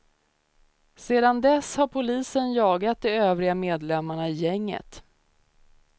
Sedan dess har polisen jagat de övriga medlemmarna i gänget.